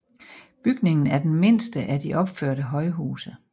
Bygningen er den mindste af de opførte højhuse